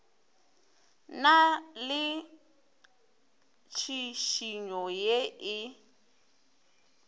na le tšhišinyo ye e